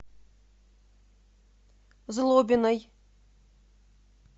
злобиной